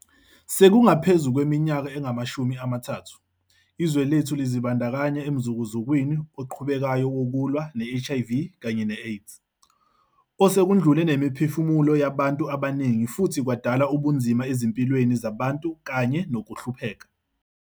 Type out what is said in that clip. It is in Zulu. Sekungaphezu kweminyaka engamashumi amathathu, izwe lethu lazibandakanya emzukuzukwini oqhubekayo wokulwa ne-HIV kanye ne-AIDS, osekudlule nemiphefumulo yabantu abaningi futhi kwadala ubunzima ezimpilweni zabantu kanye nokuhlupheka.